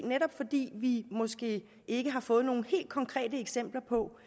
netop fordi vi måske ikke har fået nogle helt konkrete eksempler på